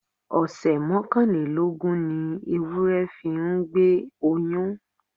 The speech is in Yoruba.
Ọ̀sẹ̀ mọ́kànlélógún ni ewúrẹ́ fi ń gbé oyún.